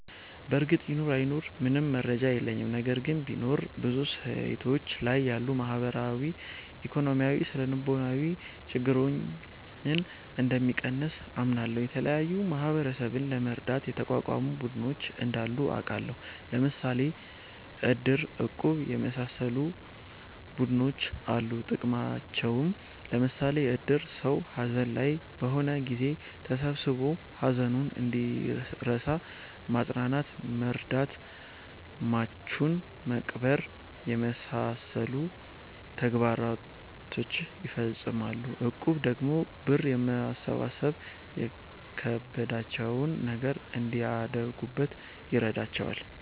በርግጥ ይኑር አይኑር ምንም መረጃ የለኝም። ነገር ግን ቢኖር ብዙ ሴቶች ላይ ያሉ ማህበራዊ፣ ኢኮኖሚያዊ፣ ስነልቦናዊ ችግረኞን እንደሚቀንስ አምናለሁ። የተለያዩ ማህበረሰብን ለመርዳት የተቋቋሙ ቡድኖች እንዳሉ አቃለሁ። ለምሣሌ እድር፣ እቁብ የመሣሠሉ ቡድኖች አሉ ጥቅማቸውም ለምሳሌ እድር ሠው ሀዘን ላይ በሆነ ጊዜ ተሠብስቦ ሀዘኑን እንዲረሣ ማፅናናት መርዳት ሟቹን መቅበር የመሣሠሉ ተግባሮችን ይፈፅማል። እቁብ ደግሞ ብር በማሠባሠብ የከበዳቸውን ነገር እንዲያደርጉበት ይረዳቸዋል።